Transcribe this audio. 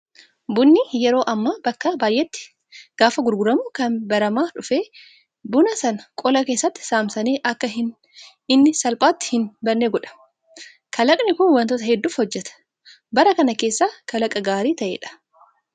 Bunni yeroo ammaa bakka baay'eetti gaafa gurguramu kan baramaa dhufe buna sana qola keessatti saamsanii akka inni salphaatti hin badne godha. Kalaqni Kun wantoota hedduuf hojjata. Bara kana keessa kalaqa gaarii ta'edha